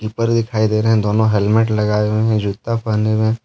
दिखाई दे रहे हैं दोनों हेलमेट लगाए हुए हैं जूता पहने हुए हैं।